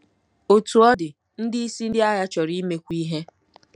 Otú ọ dị, ndị isi ndị agha chọrọ imekwu ihe.